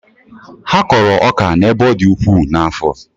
Ha kọrọ ọka n'ebe ọ dị ukwuu n'afọ.